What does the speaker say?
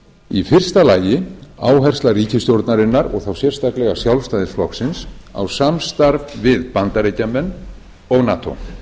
í fyrsta lagi áhersla ríkisstjórnarinnar og þá sérstaklega sjálfstæðisflokksins á samstarf við bandaríkjamenn og nato